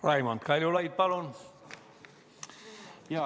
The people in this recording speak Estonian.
Raimond Kaljulaid, palun!